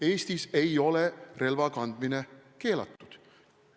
Eestis ei ole relva kandmine keelatud.